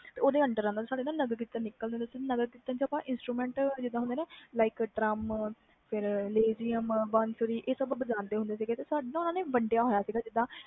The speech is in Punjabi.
ਸਾਡੇ ਨਗਰਕਿਰਨਤ ਨਿਕਲਦੇ ਸੀ ਨਗਰਕੀਰਤਨ ਵਿਚ instrument like ਜਿਵੇ ਡ੍ਰਮ lezim one three ਵੱਜਦੇ ਹੁੰਦੇ ਸੀ ਆਹ ਸਬ ਵੰਡਿਆ ਹੁੰਦਾ ਸੀ